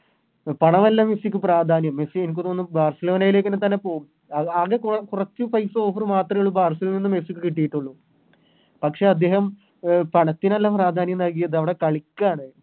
പണമല്ല മെസ്സിക്ക് പ്രാധാന്യം മെസ്സി എനിക്ക് തോന്നു ബാഴ്സലോണയിലേക്ക് തന്നെ പോകും അഹ് അത് കൊറച്ച് പൈസ Offer ബാഴ്‌സലോണയിൽ നിന്നും മെസ്സിക്ക് കിട്ടിയിട്ടുള്ളു പക്ഷെ അദ്ദേഹം അഹ് പണത്തിനല്ല പ്രാധാന്യം നൽകിയത് അവിടെ കളിക്കാണ്